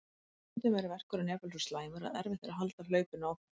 Stundum er verkurinn jafnvel svo slæmur að erfitt er að halda hlaupinu áfram.